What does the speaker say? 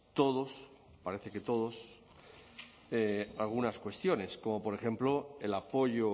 todos parece que todos algunas cuestiones como por ejemplo el apoyo